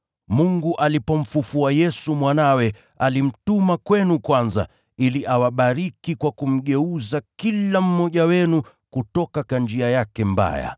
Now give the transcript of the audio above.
Mungu alipomfufua Yesu Mwanawe, alimtuma kwenu kwanza, ili awabariki kwa kumgeuza kila mmoja wenu kutoka njia yake mbaya.”